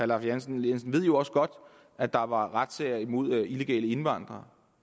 lahn jensen ved jo også godt at der var razziaer imod illegale indvandrere